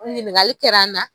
Ɲininkali kɛra an na.